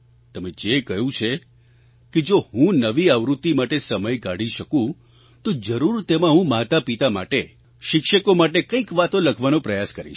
તમે જે કહ્યું છે કે જો હું નવી આવૃત્તિ માટે સમય કાઢી શકું તો જરૂર તેમાં હું માતાપિતા માટે શિક્ષકો માટે કંઈક વાતો લખવાનો પ્રયાસ કરીશ